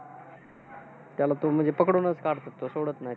त्याला तो म्हणजे पकडूनचं काढतो तो. सोडत नाही.